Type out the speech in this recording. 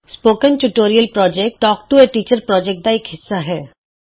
spoken tutorial project talk to a teacher project ਦਾ ਇਕ ਹਿੱਸਾ ਹੈ